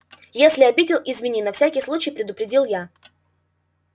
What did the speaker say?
если обидел извини на всякий случай предупредил я